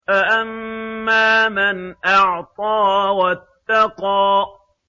فَأَمَّا مَنْ أَعْطَىٰ وَاتَّقَىٰ